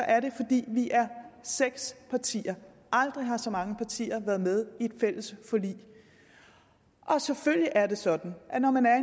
er det fordi vi er seks partier aldrig har så mange partier været med i et fælles forlig selvfølgelig er det sådan at når man er